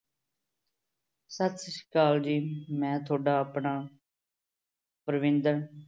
ਸਤਿ ਸ੍ਰੀ ਅਕਾਲ ਜੀ ਮੈਂ ਤੁਹਾਡਾ ਆਪਣਾ ਪਰਵਿੰਦਰ